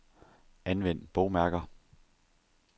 Anvend bogmærker.